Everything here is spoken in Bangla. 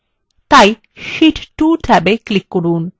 এখন শীট 2 ট্যাবে click করুন